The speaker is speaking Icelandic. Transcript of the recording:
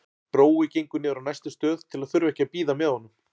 Brói gengur niður á næstu stöð til að þurfa ekki að bíða með honum.